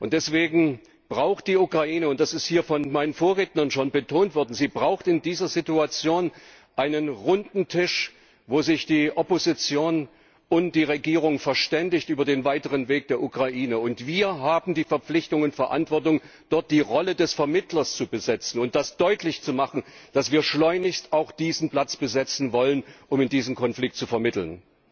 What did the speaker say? Deswegen braucht die Ukraine das ist hier von meinen Vorrednern schon betont worden in dieser Situation einen Runden Tisch, wo sich die Opposition und die Regierung über den weiteren Weg der Ukraine verständigen. Und wir haben die Verpflichtung und Verantwortung, dort die Rolle des Vermittlers zu besetzen und deutlich zu machen, dass wir schleunigst diesen Platz besetzen wollen, um in diesem Konflikt zu vermitteln.